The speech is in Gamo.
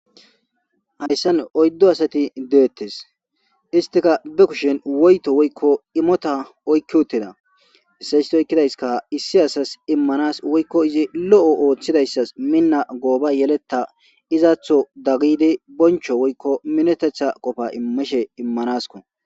Hayssan oyddo asati deettes istika bekushin woyto woykko imota oykki utteda issaystoykkidayska issi asas immanas woykko izi lo'o ooththidayssas minna gooba yeleta izaatho daggidi boncho woykko minetetha qofa imishe immanasko.